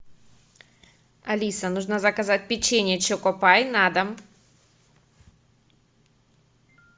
алиса нужно заказать печенье чокопай на дом